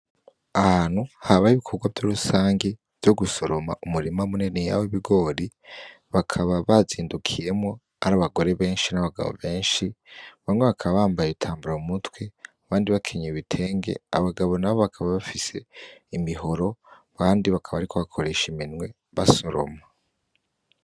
Ahantu habaye ibikorwa rusangi vyo gusoroma umurima mininiya wibigori bakaba bazindukiyemwo ari abagore benshi nabagabo benshi bamwe bakaba bambaye ibitambara mumutwe abandi bakenyeye ibitenge abagabo nabo bakaba bafise imihoro abandi bakaba bariko bakoresha iminwe basoroma.